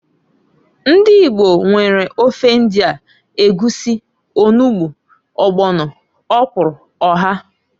Ndi Igbo nwere ofe ndia, egwusi, olugbu, ọgbọno, ọkwụrụ, oha.